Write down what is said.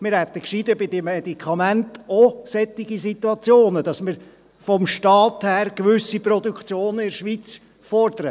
Wir hätten gescheiter bei den Medikamenten auch solche Situationen, dass wir vonseiten des Staats gewisse Produktionen in der Schweiz fordern.